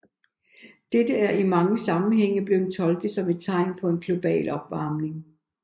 Dette er i mange sammenhænge blevet tolket som et tegn på global opvarmning